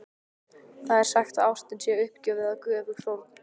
Það er sagt að ástin sé uppgjöf eða göfug fórn.